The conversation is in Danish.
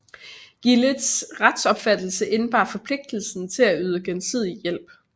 Gildets retsopfattelse indebar forpligtelsen til at yde gensidig hjælp